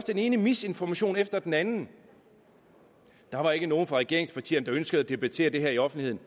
den ene misinformation efter den anden der var ikke nogen fra regeringspartierne der ønskede at debattere det her i offentligheden